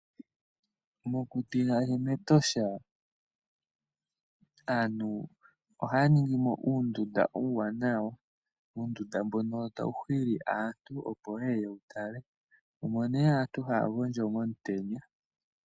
Mokuti ngaashi mEtosha aantu ohaya ningimo uundunda uuwanawa, uundunda mbono tawu hili aantu, opo ye ye ye wu tale. Omo nduno aantu haya gondjo momutenya.